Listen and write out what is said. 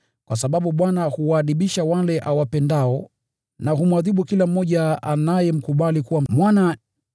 kwa sababu Bwana huwaadibisha wale awapendao, na humwadhibu kila mmoja anayemkubali kuwa mwana.”